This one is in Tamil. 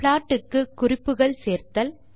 ப்ளாட் க்கு குறிப்புகள் சேர்த்தல்